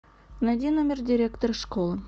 найди номер директора школы